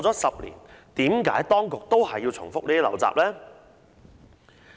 十年過去，為何當局仍然要重複這些陋習呢？